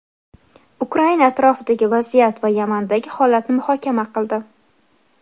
Ukraina atrofidagi vaziyat va Yamandagi holatni muhokama qildi.